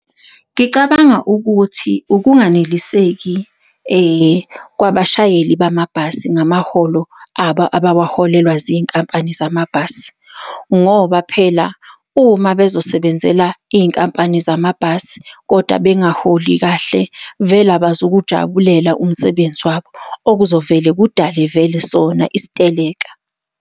Ngicabanga ukuthi ukunganeliseki kwabashayeli bamabhasi ngamaholo abo, abawaholelwa zinkampani zamabhasi. Ngoba phela uma bezosebenzela iy'nkampani zamabhasi, kodwa bengaholi kahle, vele abazukuwujabulela umsebenzi wabo okuzovele kudale vele sona isiteleka.